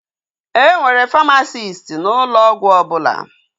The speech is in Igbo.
E nwere famasisti n'ụlọ ọgwụ ọbụla